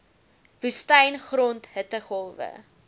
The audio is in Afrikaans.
woestyn grond hittegolwe